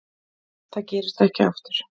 Það gerist ekki aftur.